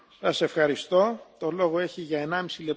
Herr Präsident, liebe Kolleginnen und Kollegen!